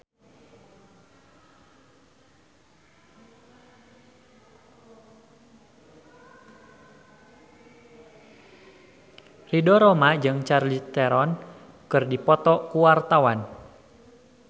Ridho Roma jeung Charlize Theron keur dipoto ku wartawan